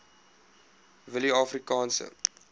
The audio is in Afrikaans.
willieafrikaanse